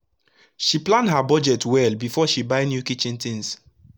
she plan her budget well before she buy new kitchen tins